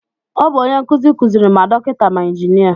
Ọ bụ onye nkụzi kuziri ma dọkịta ma injinia